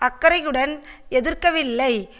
அக்கறையுடன் எதிர்க்கவில்லை